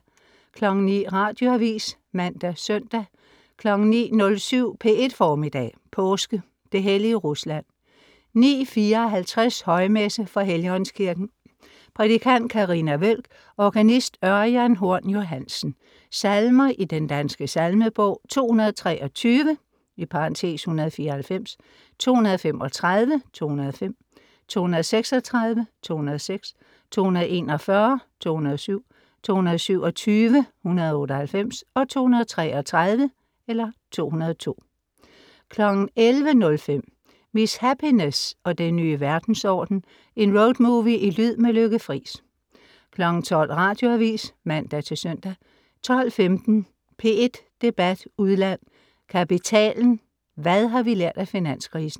09.00 Radioavis (man-søn) 09.07 P1 Formiddag. Påske. Det hellige Rusland. 09.54 Højmesse. fra Helligåndskirken. Prædikant: Carina Wøhlk. Organist: Ørjan Horn Johansen. Salmer i Den Danske Salmebog: 223 (194). 235 (205) 236 (206). 241 (207). 227 (198). 233 (202) 11.05 Miss Happiness og den nye verdensorden. En road movie i lyd, med Lykke Friis 12.00 Radioavis (man-søn) 12.15 P1 Debat udland: Kapitalen, hvad har vi lært af finanskrisen?